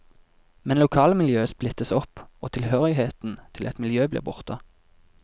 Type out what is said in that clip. Men lokalmiljøet splittes opp, og tilhørigheten til et miljø blir borte.